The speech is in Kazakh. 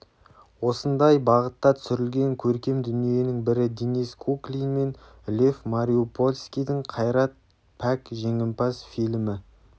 осындай бағытта түсірілген көркем дүниенің бірі денис куклин мен лев мариупольскийдің қайрат пәк жеңімпаз фильмі